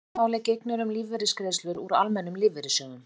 öðru máli gegnir um lífeyrisgreiðslur úr almennum lífeyrissjóðum